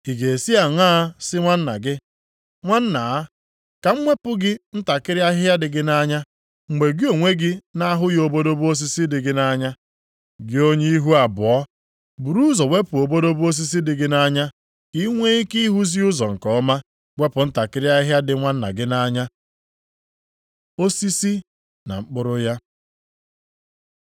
Ị ga-esi aṅaa sị nwanna gị, ‘Nwanna a, ka m wepụ gị ntakịrị ahịhịa dị gị nʼanya,’ mgbe gị onwe gị na-ahụghị obodobo osisi dị gị nʼanya? Gị onye ihu abụọ, buru ụzọ wepụ obodobo osisi dị gị nʼanya ka i nwee ike ịhụzi ụzọ nke ọma wepụ ntakịrị ahịhịa dị nwanna gị nʼanya. Osisi na mkpụrụ ya